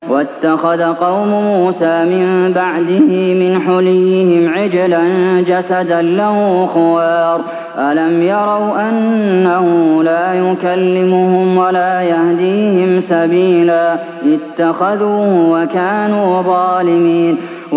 وَاتَّخَذَ قَوْمُ مُوسَىٰ مِن بَعْدِهِ مِنْ حُلِيِّهِمْ عِجْلًا جَسَدًا لَّهُ خُوَارٌ ۚ أَلَمْ يَرَوْا أَنَّهُ لَا يُكَلِّمُهُمْ وَلَا يَهْدِيهِمْ سَبِيلًا ۘ اتَّخَذُوهُ وَكَانُوا ظَالِمِينَ